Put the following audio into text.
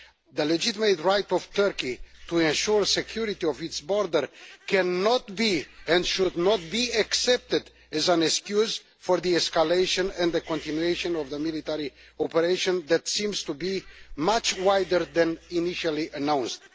The legitimate right of Turkey to ensure the security of its borders cannot be, and should not be, accepted as an excuse for the escalation and continuation of a military operation that seems to be much wider than initially announced.